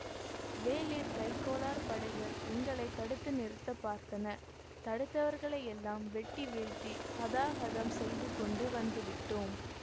வேளிர் கைக்கோளார் படைகள் எங்களை தடுத்து நிறுத்த பார்த்தன தடுத்தவர்களையெல்லாம் வெட்டி வீழ்த்தி அதாஹதம் செய்து கொண்டு வந்து விட்டோ ம்